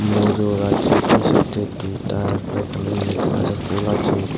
মজো রাজ্যের দুই সাইডে দুইটা পায়খানার মধ্যে আছে ফুল আছে।